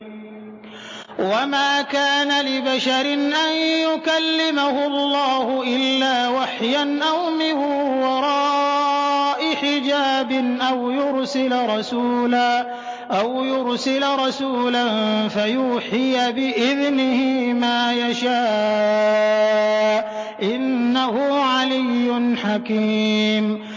۞ وَمَا كَانَ لِبَشَرٍ أَن يُكَلِّمَهُ اللَّهُ إِلَّا وَحْيًا أَوْ مِن وَرَاءِ حِجَابٍ أَوْ يُرْسِلَ رَسُولًا فَيُوحِيَ بِإِذْنِهِ مَا يَشَاءُ ۚ إِنَّهُ عَلِيٌّ حَكِيمٌ